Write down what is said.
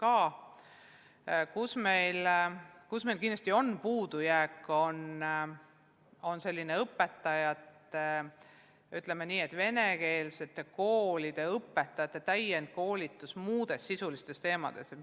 Aga meil jääb kindlasti puudu venekeelsete koolide õpetajate täiendkoolitust muudel sisulistel teemadel.